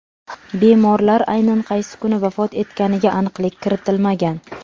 Bemorlar aynan qaysi kuni vafot etganiga aniqlik kiritilmagan.